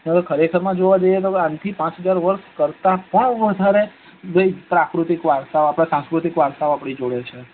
નઈતર ખરેખર જોવા જઈએ તો પાંચ હજાર વર્ષ થી કરતા પણ વધારે સાંસ્કૃતિક વારસા ઓ સાંસ્કુતિક વારસો આપડી જોડે છે